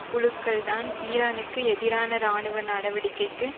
குழுக்கள்தான் ஈரானுக்கு எதிரான இராணுவ நடவடிக்கைக்கு